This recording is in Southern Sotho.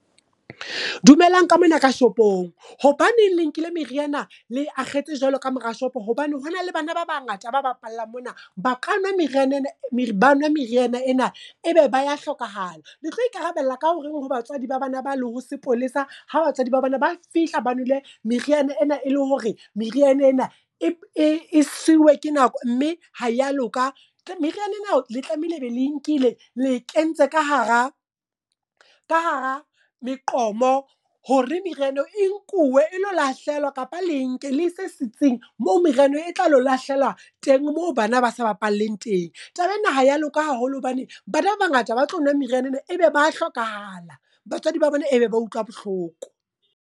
Dumelang ka mona ka shopong. Hobaneng le nkile meriana, le e akgetse jwalo ka mora shopo. Hobane hona le bana ba bangata, ba bapalla mona. Ba ka nwa meriana ena, ebe ba ya hlokahala. Le tlo ikarabella ka horeng ho batswadi ba bana ba le ho sepolesa, ha batswadi ba bana ba fihla ba nwele meriana ena e le hore meriana ena e siuwe ke nako mme ha ya loka. Meriana ena le tlameile ebe le nkile, le kentse ka hara ka hara meqomo, hore meriana eo e nkuwe e lo lahlehelwa kapa le nke le ise sitseng mo meriana e tla lo lahlehelwa teng, moo bana ba sa bapaleng teng. Taba ena ha ya loka haholo hobane, bana ba bangata ba tlo nwa meriana ena ebe ba hlokahala. Batswadi ba bone ebe ba utlwa bohloko.